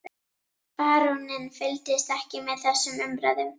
Baróninn fylgdist ekki með þessum umræðum.